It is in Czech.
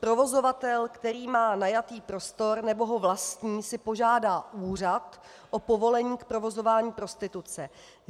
Provozovatel, který má najatý prostor nebo ho vlastní, si požádá úřad o povolení k provozování prostituce.